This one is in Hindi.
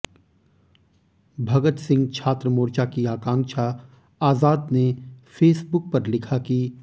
भगत सिंह छात्र मोर्चा की आकाँक्षा आजाद ने फेसबुक पर लिखा कि